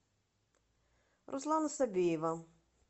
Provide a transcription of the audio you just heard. руслана собиева